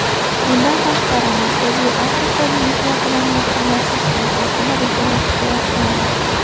Bundan tashqari, Markaziy Afrika Liviya bilan yaqinlashish siyosatini rejalashtirayotgandi.